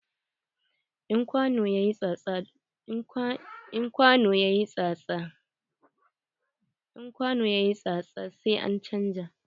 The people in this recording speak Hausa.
In kwano yayi tsatsa, sai an chanza.